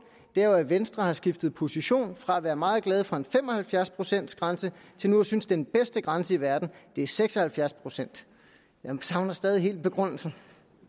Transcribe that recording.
er jo at venstre har skiftet position fra at være meget glade for en fem og halvfjerds procents grænse til nu at synes at den bedste grænse i verden er seks og halvfjerds procent jeg savner stadig helt begrundelsen